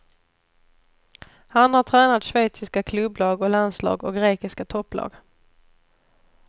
Han har tränat schweiziska klubblag och landslag och grekiska topplag.